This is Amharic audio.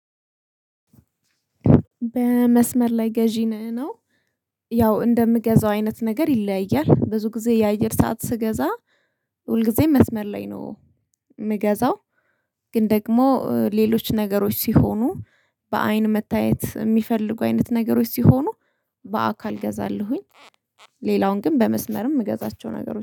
በመስመር ላይ ገዢ ነህ ነው። ያው እንደምገዛው አይነት ነገር ይለያያል ብዙ ጊዜ የአየር ሰዓት ስገዛ። ሁል ጊዜም መስመር ላይ ነው የምገዛው። ግን ደግሞ ሌሎች ነገሮች ሲሆኑ በአይን መታየት የሚፈልጉ አይነት ነገሮች ሲሆኑ በአካል እገዛለሁኝ። ሌላውን ግን በመስመርም የምገዛቸው ነገሮች